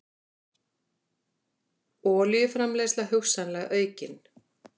Olíuframleiðsla hugsanlega aukin